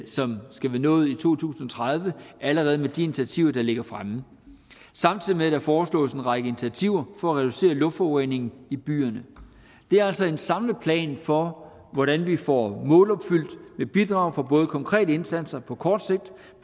som skal være nået i to tusind og tredive allerede med de initiativer der ligger fremme samtidig med at der foreslås en række initiativer for at reducere luftforureningen i byerne det er altså en samlet plan for hvordan vi får målopfyldt med bidrag fra både konkrete indsatser på kort sigt